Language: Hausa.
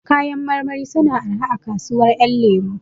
Kayan marmari suna araha a kasuwar ƴan lemo